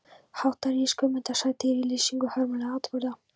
Hátt rís Guðmundar saga dýra í lýsingum hörmulegra atburða.